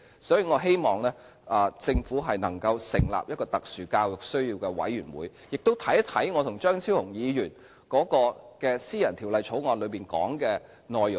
所以，我希望政府能成立特殊教育需要的委員會，亦看看我和張超雄議員的私人條例草案當中的內容。